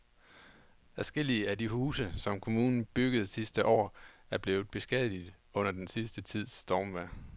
Adskillige af de huse, som kommunen byggede sidste år, er blevet beskadiget under den sidste tids stormvejr.